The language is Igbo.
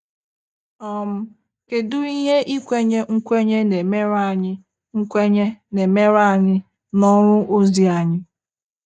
um Kedụ ihe ikwenye nkwenye na-emere anyị nkwenye na-emere anyị n'ọrụ ozi anyị?